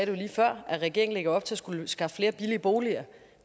jo lige før at regeringen lægger op til at skulle skaffe flere billige boliger